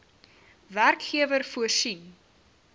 werkgewer voorsien